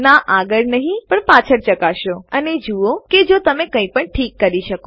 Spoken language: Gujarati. ના આગળ નહીં પણ પાછળ ચકાસો અને જુઓ કે જો તમે કઈપણ ઠીક કરી શકો